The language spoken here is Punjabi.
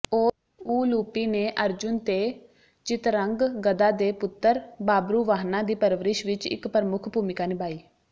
ਉਲੂਪੀ ਨੇ ਅਰਜੁਨ ਤੇ ਚਿਤਰੰਗਗਦਾ ਦੇ ਪੁੱਤਰ ਬਾਬਰੁਵਾਹਨਾ ਦੀ ਪਰਵਰਿਸ਼ ਵਿੱਚ ਇੱਕ ਪ੍ਰਮੁੱਖ ਭੂਮਿਕਾ ਨਿਭਾਈ